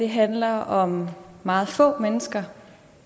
handler om meget få mennesker